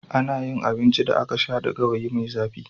Ana yin abincin da aka sha da gawayi mai zafi.